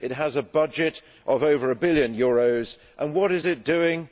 It has a budget of over a billion euros and what is it doing?